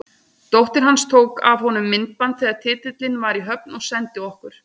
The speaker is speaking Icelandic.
Dóttir hans tók af honum myndband þegar titillinn var í höfn og sendi okkur.